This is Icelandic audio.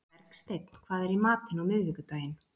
Bergsteinn, hvað er í matinn á miðvikudaginn?